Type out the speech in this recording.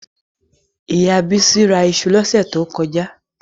Ìyá Bísí ra iṣu lọ́sẹ̀ tí ó kọjá